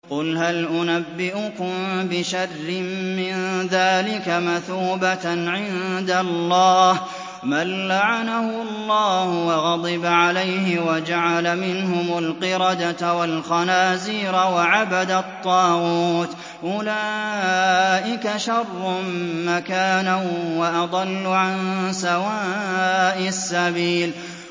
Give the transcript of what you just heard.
قُلْ هَلْ أُنَبِّئُكُم بِشَرٍّ مِّن ذَٰلِكَ مَثُوبَةً عِندَ اللَّهِ ۚ مَن لَّعَنَهُ اللَّهُ وَغَضِبَ عَلَيْهِ وَجَعَلَ مِنْهُمُ الْقِرَدَةَ وَالْخَنَازِيرَ وَعَبَدَ الطَّاغُوتَ ۚ أُولَٰئِكَ شَرٌّ مَّكَانًا وَأَضَلُّ عَن سَوَاءِ السَّبِيلِ